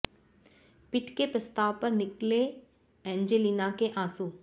पिट के प्रस्ताव पर निकले एंजेलिना के आंसू